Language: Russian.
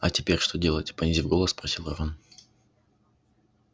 а теперь что делать понизив голос спросил рон